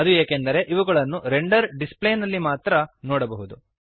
ಅದು ಏಕೆಂದರೆ ಇವುಗಳನ್ನು ರೆಂಡರ್ ಡಿಸ್ಪ್ಲೇನಲ್ಲಿ ಮಾತ್ರ ನೋಡಬಹುದು